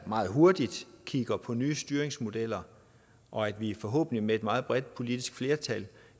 meget hurtigt kigger på nye styringsmodeller og at vi forhåbentlig hurtigt med et meget bredt politisk flertal